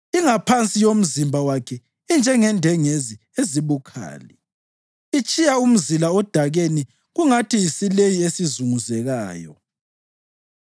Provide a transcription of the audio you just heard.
Ingaphansi yomzimba wakhe injengendengezi ezibukhali, itshiya umzila odakeni kungathi yisileyi esizunguzekayo.